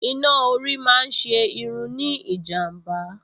Iná orí máa ń ṣe irun ní ìjàm̀bá